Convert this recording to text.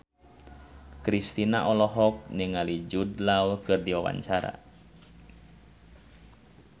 Kristina olohok ningali Jude Law keur diwawancara